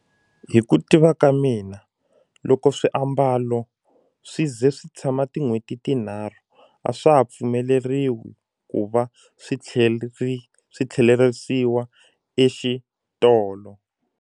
Hi ku tiva ka mina loko swiambalo swi ze swi tshama tin'hweti tinharhu a swa ha pfumeleriwi ku va swi swi tlherisiwa exitolo.